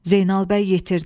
Zeynal bəy yetirdi.